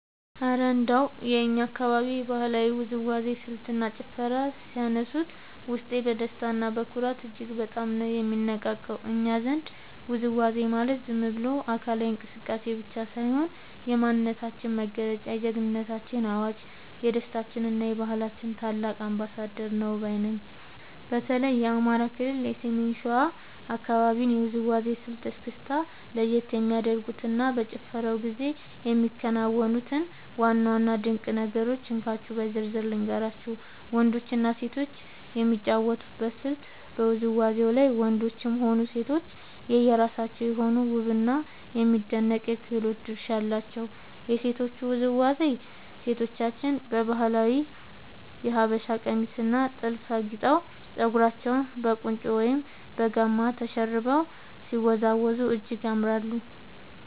እረ እንደው የእኛን አካባቢ የባህላዊ ውዝዋዜ ስልትና ጭፈርማ ሲያነሱት፣ ውስጤ በደስታና በኩራት እጅግ በጣም ነው የሚነቃቃው! እኛ ዘንድ ውዝዋዜ ማለት ዝም ብሎ አካላዊ እንቅስቃሴ ብቻ ሳይሆን፣ የማንነታችን መገለጫ፣ የጀግንነታችን አዋጅ፣ የደስታችንና የባህላችን ታላቅ አምባሳደር ነው ባይ ነኝ። በተለይ የአማራ ክልል የሰሜን ሸዋ አካባቢን የውዝዋዜ ስልት (እስክስታ) ለየት የሚያደርጉትንና በጭፈራው ጊዜ የሚከናወኑትን ዋና ዋና ድንቅ ነገሮች እንካችሁ በዝርዝር ልንገራችሁ፦ . ወንዶችና ሴቶች የሚጫወቱበት ስልት በውዝዋዜው ላይ ወንዶችም ሆኑ ሴቶች የየራሳቸው የሆነ ውብና የሚደነቅ የክህሎት ድርሻ አላቸው። የሴቶቹ ውዝዋዜ፦ ሴቶቻችን በባህላዊው የሀበሻ ቀሚስና ጥልፍ አጊጠው፣ ፀጉራቸውን በቁንጮ ወይም በጋማ ተሸርበው ሲወዝወዙ እጅግ ያምራሉ።